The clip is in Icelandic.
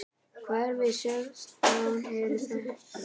Hverfin sextán eru þessi